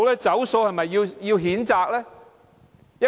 "走數"是否應被譴責呢？